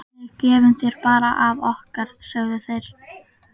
Við gefum þér bara af okkar, sögðu þeir.